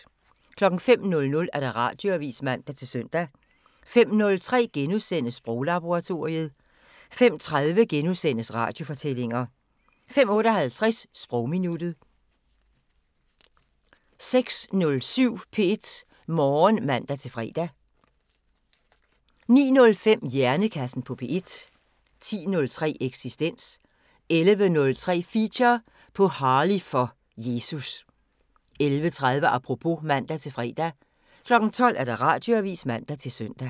05:00: Radioavisen (man-søn) 05:03: Sproglaboratoriet * 05:30: Radiofortællinger * 05:58: Sprogminuttet 06:07: P1 Morgen (man-fre) 09:05: Hjernekassen på P1 10:03: Eksistens 11:03: Feature: På Harley for Jesus 11:30: Apropos (man-fre) 12:00: Radioavisen (man-søn)